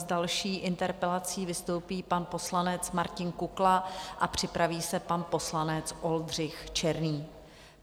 S další interpelací vystoupí pan poslanec Martin Kukla a připraví se pan poslanec Oldřich Černý.